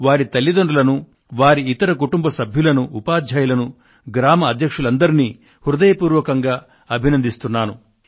వారి తల్లితండ్రులను వారి ఇతర కుటుంబ సభ్యులను ఉపాధ్యాయులను గ్రామ అధ్యక్షులందరినీ హృదయపూర్వకంగా అభినందిస్తున్నాను